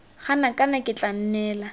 gana kana ke tla nnela